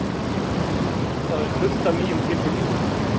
Það er fullt af nýjum tilfinningum.